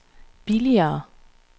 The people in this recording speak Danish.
billigere